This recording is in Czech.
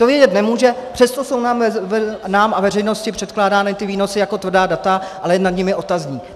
To vědět nemůže, přesto jsou nám a veřejnosti předkládány ty výnosy jako tvrdá data, ale je nad nimi otazník.